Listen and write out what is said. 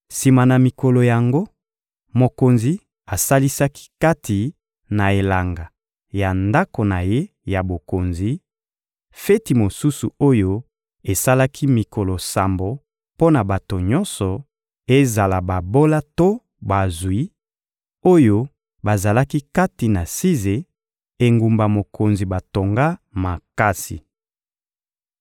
Sima na mikolo yango, mokonzi asalisaki kati na elanga ya ndako na ye ya bokonzi, feti mosusu oyo esalaki mikolo sambo mpo na bato nyonso, ezala babola to bazwi, oyo bazalaki kati na Size, engumba mokonzi batonga makasi.